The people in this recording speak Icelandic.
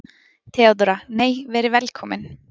THEODÓRA: Nei, verið velkomin!